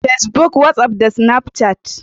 Pacebook, WhatsApp da Snapchat.